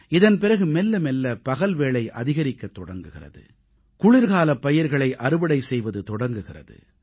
இதன் பிறகு மெல்ல மெல்ல பகல் வேளை அதிகரிக்கத் தொடங்குகிறது குளிர்காலப் பயிர்களை அறுவடை செய்வது தொடங்குகிறது